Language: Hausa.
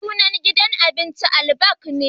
Sunan gidan abincin Albaik ne